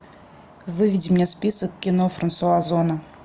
выведи мне список кино франсуа зона